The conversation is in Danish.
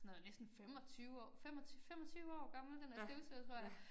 Sådan noget næsten 25 år 25 25 år gammel den der støvsuger tror jeg